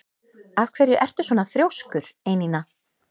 Af hverju ertu svona þrjóskur, Einína?